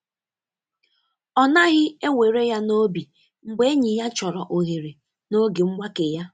Ọ naghị ewere ya n’obi mgbe enyi ya chọrọ ohere n’oge mgbake ya.